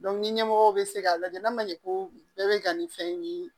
ni ɲɛmɔgɔ bɛ se k'a lajɛ n'a ma ɲɛ ko bɛɛ bɛ ka nin fɛn in ye